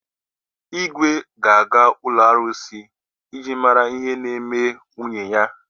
Igwe ga-aga n’ụlọ arụsị iji mara ihe na-eme nwunye ya.